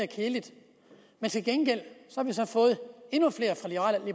kedeligt men til gengæld har vi så fået endnu flere fra liberal